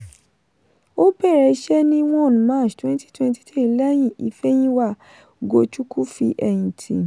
ó bẹ̀rẹ̀ iṣẹ́ ní one march twenty-twenty-three lẹ́yìn ifeyinwa ugochukwu fi ẹ̀yìn tì.